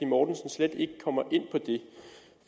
mortensen slet ikke kommer